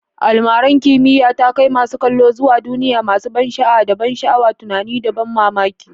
Almarar kimiyya ta kai masu kallo zuwa duniya masu ban sha'awa, da ban sha'awa tunani da ban mamaki.